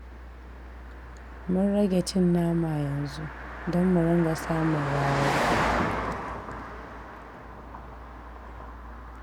Mun rage cin nama yanzu don mu dinga samun rarar kuɗi